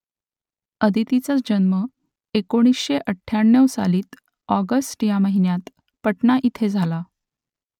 आदितीचा जन्म एकोणीसशे अठ्ठ्याण्णव सालातील ऑगस्ट या महिन्यात पाटणा इथे झाला